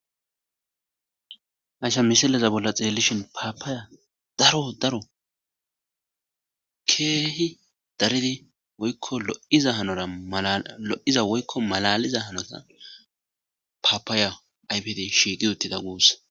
hasa misileza bolla xiellishin paapaaya daro daro keehi daridi woykko lo7iza hanora alo7iza woykko malaliza hanora paapaaya aybed shiigi uttida guus